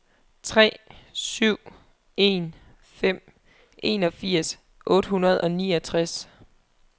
tre syv en fem enogfirs otte hundrede og niogtres